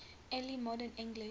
early modern english